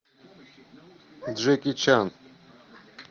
джеки чан